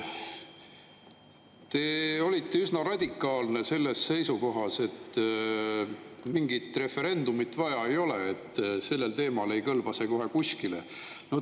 Teil oli üsna radikaalne seisukoht, et mingit referendumit vaja ei ole, et referendum sellel teemal ei kõlbaks kohe kuskile.